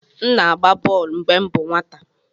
M na-agba bọl mgbe m bụ nwata.